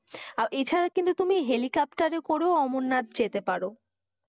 এছাড়া কিন্তু তুমি helicopter এ করেও অমরনাথ যেতে পারো।